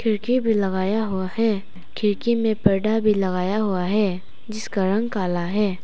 खिड़की भी लगाया हुआ है खिड़की में पर्दा भी लगाया हुआ है जिसका रंग काला है।